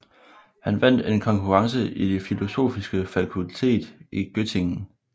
Hun vandt en konkurrence i det filosofiske fakultet i Göttingen